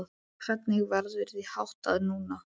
Hvernig verður því háttað núna?